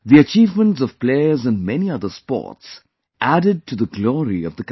The achievements of players in many other sports added to the glory of the country